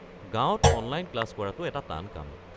গাঁৱত online class কৰাটো এটা টান কাম।